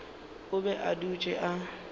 o be a dutše a